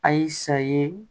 A y'i sa ye